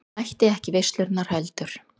Mætti ekki í veislurnar heldur.